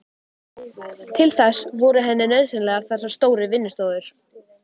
Til þess voru henni nauðsynlegar þessar stóru vinnustofur.